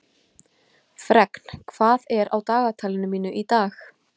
Fregn, hvað er á dagatalinu mínu í dag?